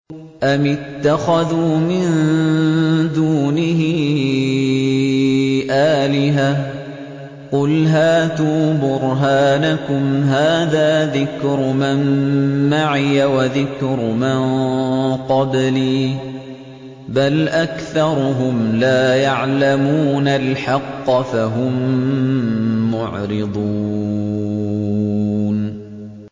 أَمِ اتَّخَذُوا مِن دُونِهِ آلِهَةً ۖ قُلْ هَاتُوا بُرْهَانَكُمْ ۖ هَٰذَا ذِكْرُ مَن مَّعِيَ وَذِكْرُ مَن قَبْلِي ۗ بَلْ أَكْثَرُهُمْ لَا يَعْلَمُونَ الْحَقَّ ۖ فَهُم مُّعْرِضُونَ